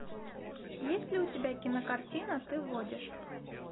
есть ли у тебя кинокартина ты водишь